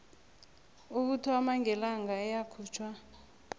ukuthoma ngelanga eyakhutjhwa